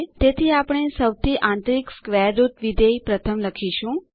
તેથી આપણે સૌથી આંતરિક સ્ક્વેર રૂટ વિધેય પ્રથમ લખીશું